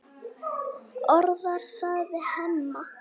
Orðar það við Hemma.